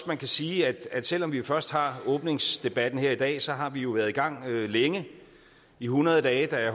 man kan sige at selv om vi først har åbningsdebatten her i dag så har vi jo været i gang længe i hundrede dage